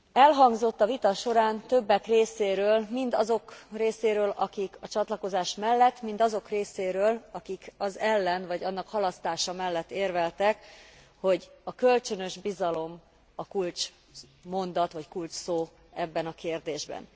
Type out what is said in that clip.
Elhangzott a vita során többek részéről, mind azok részéről, akik a csatlakozás mellett, mind azok részéről, akik az ellen, vagy annak halasztása mellett érveltek, hogy a kölcsönös bizalom a kulcsszó ebben a kérdésben.